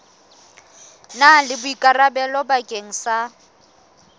na le boikarabelo bakeng sa